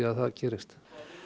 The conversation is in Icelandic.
að það gerist